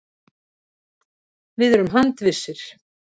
Við erum handvissir.